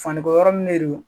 Faniko yɔrɔ nin de do